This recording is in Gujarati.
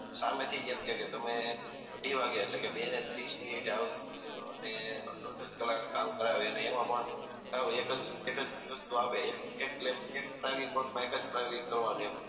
સામે થી જ એમ કે કે તમે અઢી વાગે એટલે કે બે ને ત્રીસ મિનીટ એ આવજો અને દોઢ દોઢ કલાક કામ કરાવે એમાં પણ સાવ એક જ એક જ વસ્તુ આપે એક લેબ એક ટાઇમ કોટ માં એક કરવાની